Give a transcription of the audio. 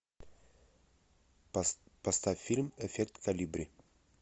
поставь фильм эффект колибри